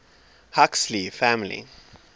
huxley family